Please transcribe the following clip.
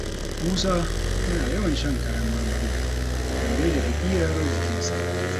Musa yana yawan shan kayan marmari, don daidaita ƙirar jikinsa.